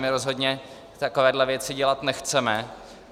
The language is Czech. My rozhodně takové věci dělat nechceme.